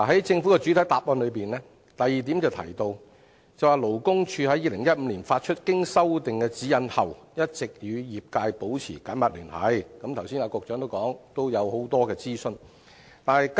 政府的主體答覆第二部分提到，勞工處在2015年發出經修訂的《指引》後，一直與業界保持緊密聯繫，而局長剛才亦提及很多諮詢工作。